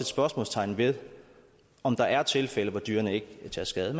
spørgsmålstegn ved om der er tilfælde hvor dyrene ikke har taget skade